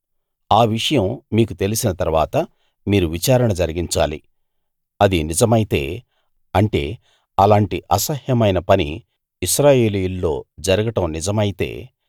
ఆ విషయం మీకు తెలిసిన తరువాత మీరు విచారణ జరిగించాలి అది నిజమైతే అంటే అలాంటి అసహ్యమైన పని ఇశ్రాయేలీయుల్లో జరగడం నిజమైతే